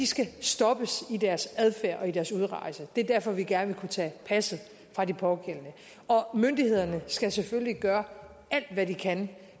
skal stoppes i deres adfærd og i deres udrejse det er derfor vi gerne vil kunne tage passet fra de pågældende og myndighederne skal selvfølgelig gøre alt hvad de kan